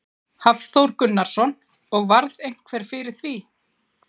Hafþór Gunnarsson: Og varð einhver fyrir því?